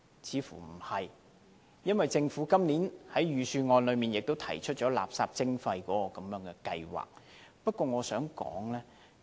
似乎不是，因為政府今年在預算案也提出垃圾徵費計劃。